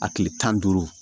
A tile tan ni duuru